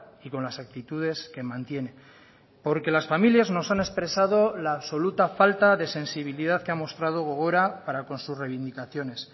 y con las actitudes que mantiene porque las familias nos han expresado la absoluta falta de sensibilidad que ha mostrado gogora para con sus reivindicaciones